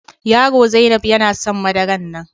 yaro Zainab yana son madaran nan.